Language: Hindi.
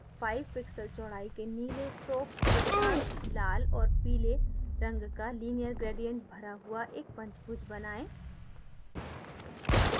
1 5 pixels चौडाई के नीले stroke के साथ लाल और पीले रंग का linear gradient भरा हुआ एक पंचभुज बनाएँ